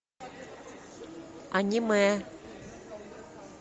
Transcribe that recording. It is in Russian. аниме